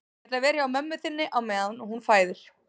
Ég ætla að vera hjá mömmu þinni á meðan hún fæðir